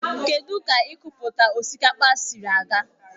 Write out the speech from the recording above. Kedụ ka ikọpụta osikapa siri ga?